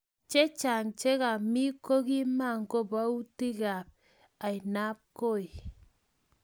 Chechang chekami kokimokoboutikab ainabkoi